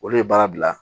Olu ye baara bila